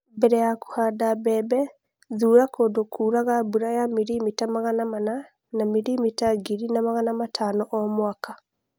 Mbere ya kũhanda mbembe, thuura kũndũ kũraga mbura ya 400 mm-1500 mm o mwaka.